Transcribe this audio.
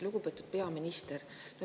Lugupeetud peaminister!